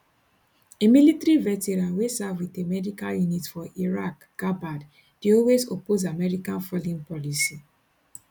a military veteran wey serve wit a medical unit for iraq gabbard dey always oppose american foreign policy